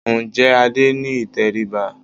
Ǹjẹ́ Adé ní ìtẹríba?